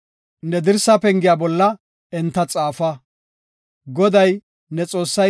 Ne penge zizgeta bollanne ne dirsa pengiya bolla enta xaafa.